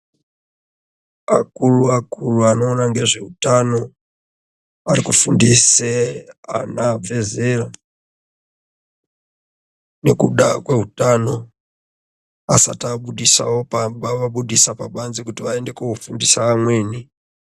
Akuru akuru wari kuona nezveutano, wari kufundise ana abve zera nekuda kwehutano asati abudisawo pamba obudisa pabanze kuti waende koofundisa amweni.